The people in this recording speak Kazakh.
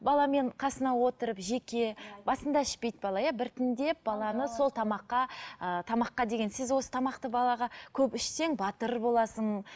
баламен қасына отырып жеке басында ішпейді бала иә біртіндеп баланы сол тамаққа ыыы тамаққа деген сіз осы тамақты балаға көп ішсең батыр боласың